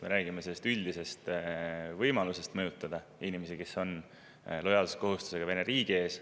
Me räägime üldisest võimalusest mõjutada inimesi, kellel on lojaalsuskohustus Vene riigi ees.